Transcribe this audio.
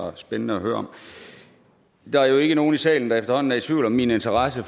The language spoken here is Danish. var spændende at høre om der er jo ikke nogen i salen der efterhånden er i tvivl om min interesse